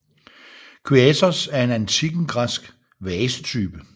Kyathos er en antikken græsk vasetype